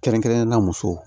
Kɛrɛnkɛrɛnnenya musow